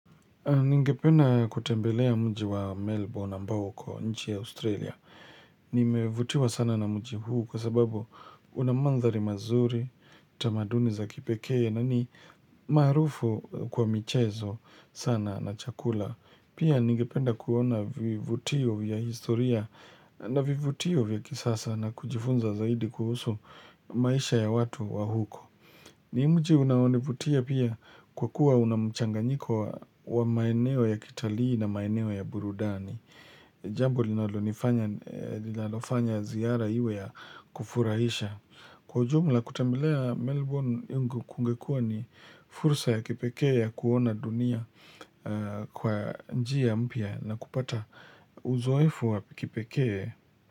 Ningependa kutembelea mji wa Melbourne ambao kwa nchi ya Australia. Nimevutiwa sana na mji huu kwa sababu una manthari mazuri, tamaduni za kipekee na ni maarufu kwa michezo sana na chakula. Pia ningependa kuona vivutio vya historia na vivutio vya kisasa na kujifunza zaidi kuhusu maisha ya watu wa huko. Ni mji unaonivutia pia kwa kuwa una mchanganyiko wa maeneo ya kitalii na maeneo ya burudani. Jambo linalonifanya linalofanya ziara iwe ya kufurahisha. Kwa ujumla kutembelea Melbourne kungekuwa ni fursa ya kipekee ya kuona dunia kwa njia mpya na kupata uzoefu wa kipekee.